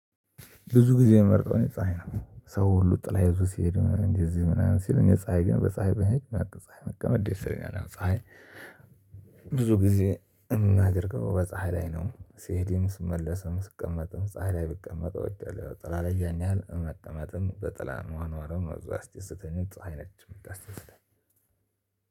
ብዙ ጊዜ ምመርጠው እኔ ፀሀይ ነው ሰው ሁሉ ጥላ ይዞ ሲሄድ እንደ እዚህ ምናምን ሲል እኔ ፀሀይ ግን በፀሀይ መሄድ እና በፀሀይ መቀመጥ ደስ ይለኛል ያው ፀሀይ። ብዙ ጊዜ የምናደርገው በፀሀይ ላይ ነው ሲሄድም ስመለስም ስቀመጥም ፀሀይ ላይ ብቀመጥ እወዳለሁ ጥላ ላይ ያን ያህል መቀመጥም በጥላ መኖርም ብዙ አያስደስተኝም። ፀሀይ ነች ምታስደስተኝ።